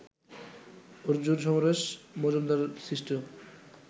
অর্জুন, সমরেশ মজুমদার সৃষ্ট